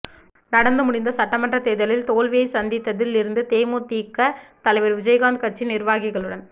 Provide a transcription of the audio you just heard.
நடந்து முடிந்த சட்டமன்றத் தேர்தலில் தோல்வியை சந்தித்ததில் இருந்து தேமுதிக தலைவர் விஜயகாந்த் கட்சி நிர்வாகிகளுடன்